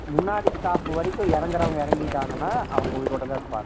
முன்னாடி stop வரைக்கும் இறங்குறவங்க இறங்கிட்டான் அவங்க உயிரோடுதான் இருப்பாங்க